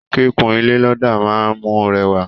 Kíkún ilé lọdà máa n mú rẹwa.